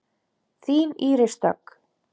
Þín Íris Dögg.